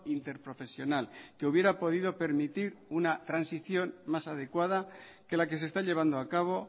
interprofesional que hubiera podido permitir una transición más adecuada que la que se está llevando a cabo